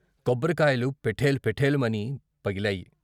కొబ్బరికాయలు పెఠేలు పెఠేల్మని పగిలాయి.